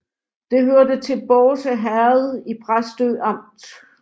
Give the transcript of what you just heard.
Det hørte til Bårse Herred i Præstø Amt